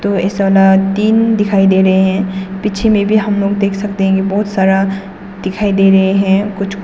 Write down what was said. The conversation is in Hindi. और तीन दिखाई दे रहे हैं पीछे में भी हम लोग देख सकते हैं कि बहुत सारा दिखाई दे रहे हैं कुछ कुछ।